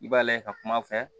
I b'a lajɛ ka kuma fɛ